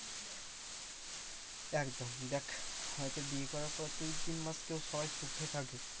একদম দেখ হয়তো বিয়ে করার পর দুই তিন মাস কেউ সবাই সুখে থাকে।